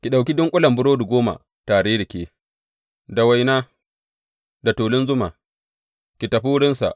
Ki ɗauki dunƙulen burodi goma tare da ke, da waina, da tulun zuma, ki tafi wurinsa.